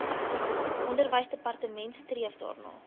onderwysdepartement streef daarna